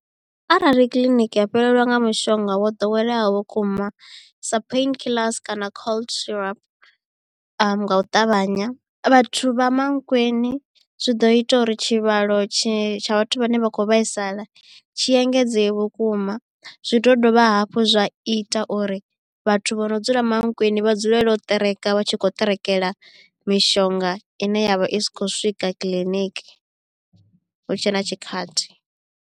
Arali kiḽiniki ya fhelelwa nga mushonga wo ḓoweleaho vhukuma sa pain killers kana cold syrup nga u ṱavhanya vhathu vha Mankweng zwi ḓo ita uri tshivhalo tshi tsha vhathu vhane vha kho vhaisala tshi engedzee vhukuma zwi ḓo dovha hafhu zwa ita uri vhathu vho no dzula Mankweng vha dzulele u ṱereka vha tshi khou ṱerekela mishonga ine ya vha i sa khou swika kiḽiniki hu tshe na tshikhathi.